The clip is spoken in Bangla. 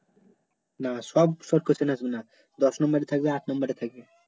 না সব short question আসবে না দশ নাম্বার থাকবে আট নাম্বারে থাকবে